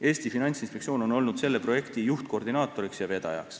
Eesti Finantsinspektsioon on olnud selle projekti juhtkoordinaator ja vedaja.